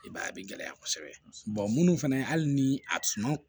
I b'a ye a bɛ gɛlɛya kosɛbɛ munnu fɛnɛ hali ni a suma